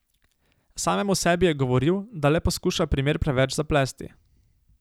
Samemu sebi je govoril, da le poskuša primer preveč zaplesti.